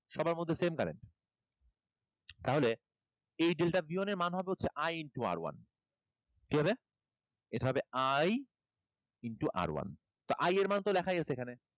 সবার মধ্যে same current, তাহলে এই delta b one এর মান হবে হচ্ছে I into R one, কি হবে? এটা হবে I into R one তো I এর মান তো লেখাই আছে এখানে।